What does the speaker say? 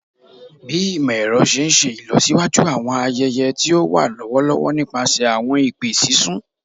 Bi imọ-ẹrọ ṣe n ṣe ilọsiwaju awọn ayẹyẹ ti o wa lọwọlọwọ nipasẹ awọn ipe sisun